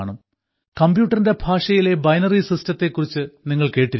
കമ്പ്യൂട്ടറിന്റെ ഭാഷയിലെ ബൈനറി സിസ്റ്റത്തെ കുറിച്ച് നിങ്ങൾ കേട്ടിരിക്കും